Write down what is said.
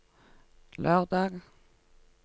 lørdag